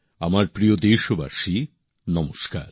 আমার প্রিয় দেশবাসী নমস্কার